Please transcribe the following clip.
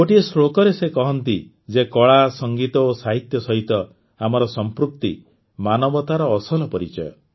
ଗୋଟିଏ ଶ୍ଳୋକରେ ସେ କହନ୍ତି ଯେ କଳା ସଂଗୀତ ଓ ସାହିତ୍ୟ ସହିତ ଆମର ସଂପୃକ୍ତି ମାନବତାର ଅସଲ ପରିଚୟ